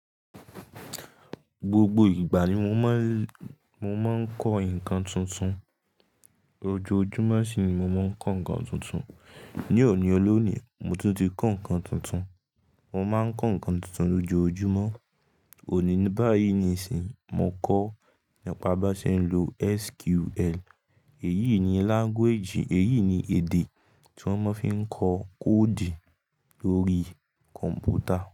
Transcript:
Gbogbo ìgbà ni mo máa ń, mo máa ń kọ́ nǹkan tuntun. Ojoojúmọ́ ṣìní mo máa ń kọ́ nǹkan tuntun. Ni òní, olónìí mo tún ti kọ́ nǹkan tuntun. Mo máa ń kọ́ nǹkan tuntun lójoojúmọ́. Òní báyìí nísìnyí mo kọ́ nípa bá ṣe ń lo SQL. Èyí ni language, èyí ni èdè tí wón máa ń fi ń kọ koodu lórí kọ̀m̀pútà.